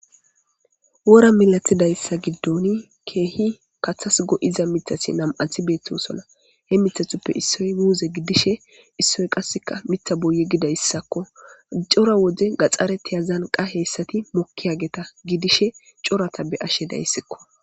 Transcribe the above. Wora milathidayssa giddoni keehi kathas go'iza mithasi nam'athi beettosola hemithathuppe issoy muuze gidishe issoy qasseka mitha boye gidayssakko cora wode gaxare tiyazan qaheessati mokki hageta gidishe corata be ashe dayssikko.